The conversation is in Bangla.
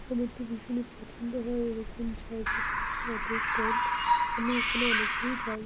আমার তো ভীষণই পছন্দ হয় এইরকম জায়গা পাসে অটো স্ট্যান্ড আমি এখানে অনেকবারই যাই।